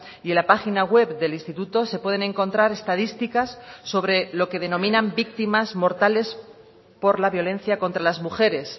y en la página web del instituto se pueden encontrar estadísticas sobre lo que denominan víctimas mortales por la violencia contra las mujeres